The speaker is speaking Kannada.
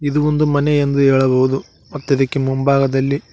ಇದು ಒಂದು ಮನೆ ಎಂದು ಹೇಳಬಹುದು ಮತ್ತಿದಿಕ್ಕೆ ಮುಂಭಾಗದಲ್ಲಿ--